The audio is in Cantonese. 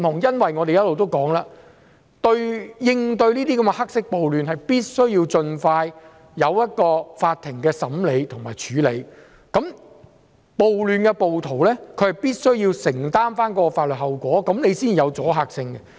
正如我們一直所說，為應對這些黑色暴亂，法庭必須盡快審理和處理，涉及暴亂的暴徒必須承擔法律後果，這樣才有阻嚇性。